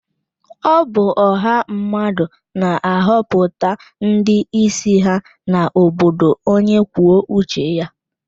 Ọ bụ ọha mmadụ na-ahọpụta ndị isi ha na obodo onye kwuo uche ya.